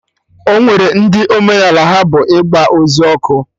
Ọnwere ndị omenaala ha bụ ịgba ozu ọkụ